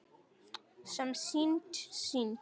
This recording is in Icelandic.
Sem er synd.